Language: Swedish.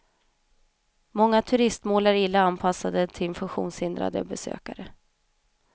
Många turistmål är illa anpassade till funktionshindrade besökare.